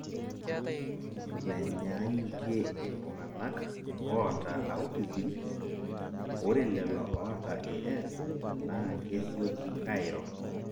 menyaanyukie iltunganak oota autism, ore lelo oota AS naaa kesioki airo.